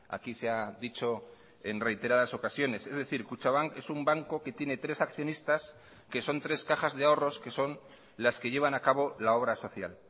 aquí se ha dicho en reiteradas ocasiones es decir kutxabank es un banco que tiene tres accionistas que son tres cajas de ahorros que son las que llevan a cabo la obra social